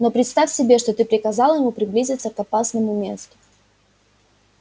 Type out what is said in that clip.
но представь себе что ты приказал ему приблизиться к опасному месту